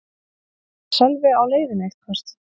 Var Sölvi á leiðinni eitthvert?